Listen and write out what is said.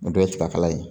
O dɔ ye tiga kala ye